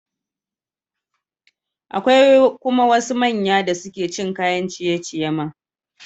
Akwai kuma wasu manya da suke cin kayan ciye-ciye ma.